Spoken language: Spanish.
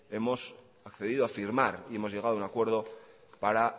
hemos accedido a firmar y hemos llegado a un acuerdo para